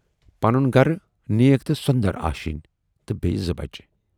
پنُن گرٕ، نیک تہٕ سۅندر آشینۍ تہٕ بییہِ زٕ بچہٕ۔